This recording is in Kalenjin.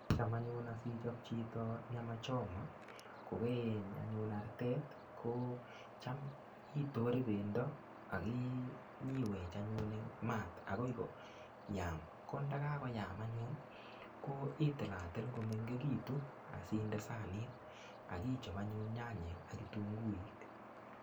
Cham anyun asichop chito nyana choma kokaieny anyun artet, kocham itore pendo akinyiwech anyun eng mat akoi koyan. Ko ndakakoyam anyun, ko itilatil komengekitu asinde sanit akichop anyun nyanyek ak kitunguik.